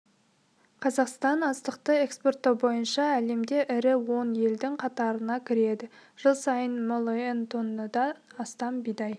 қазақстан астықты экспорттау бойынша әлемде ірі он елдің қатарына кіреді жыл сайын миллион тоннадан астам бидай